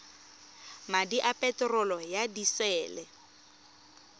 madi a peterolo ya disele